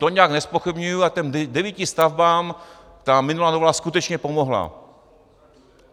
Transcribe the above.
To nijak nezpochybňuji a těm devíti stavbám ta minulá novela skutečně pomohla.